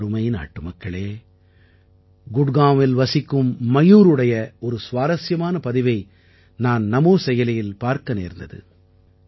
எனதருமை நாட்டுமக்களே குட்காவில் வசிக்கும் மயூருடைய ஒரு சுவாரசியமான பதிவை நான் நமோ செயலியில் பார்க்க நேர்ந்தது